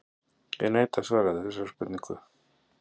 En hvernig er kanínukjöt á bragðið?